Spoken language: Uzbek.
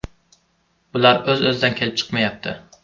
Bular o‘z-o‘zidan kelib chiqmayapti.